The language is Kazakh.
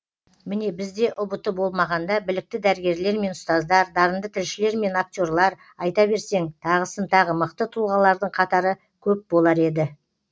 міне бізде ұбт болмағанда білікті дәрігерлер мен ұстаздар дарынды тілшілер мен акте рлар айта берсең тағысын тағы мықты тұлғалардың қатары көп болар еді